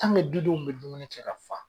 tanke dudenw be dumuni kɛ ka faa